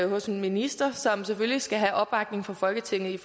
hos en minister som selvfølgelig skal have opbakning fra folketinget